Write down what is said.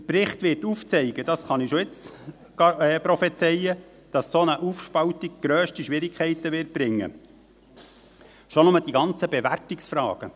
Der Bericht wird aufzeigen, das kann ich schon jetzt prophezeien, dass eine solche Aufspaltung grösste Schwierigkeiten bringen wird, schon nur in Bezug auf die ganzen Bewertungsfragen.